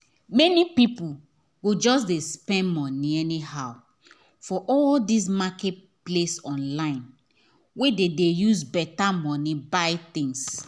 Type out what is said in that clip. many people go just dey spend money anyhow for all this marketplace online wey dey use better money buy things